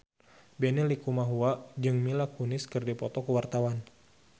Benny Likumahua jeung Mila Kunis keur dipoto ku wartawan